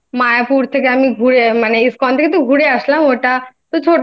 থেকে আমি ঘুরে মানে ISKCON থেকে তো ঘুরে আসলাম মানে